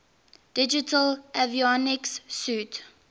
digital avionics suite